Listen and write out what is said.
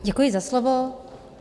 Děkuji za slovo.